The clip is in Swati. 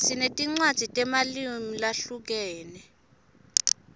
sinetinwadzi temalimu lahlukene